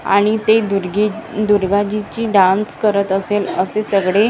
आणि ते दुर्गे दुर्गाजीची डान्स करत असेल असे सगळे नृ--